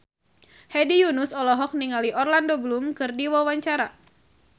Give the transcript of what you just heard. Hedi Yunus olohok ningali Orlando Bloom keur diwawancara